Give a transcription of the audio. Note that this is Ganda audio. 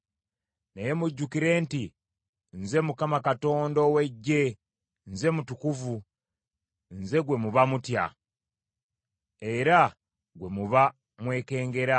Naye mujjukire nti nze Mukama Katonda ow’Eggye, nze Mutukuvu, nze gwe muba mutya, era gwe muba mwekengera.